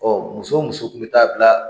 muso o muso k'i bɛ taa bila